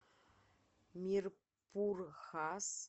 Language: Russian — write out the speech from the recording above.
мирпур хас